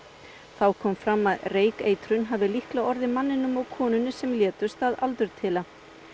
þá kom fram að reykeitrun hafi líklega orðið manninum og konunni sem létust að aldurtila